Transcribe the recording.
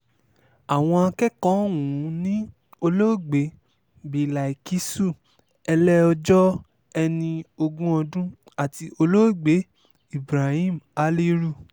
àwọn akẹ́kọ̀ọ́ ọ̀hún ni olóògbé bíláìkísù ẹlẹ́ọjọ́ ẹni ogún ọdún àti olóògbé ibrahim haliru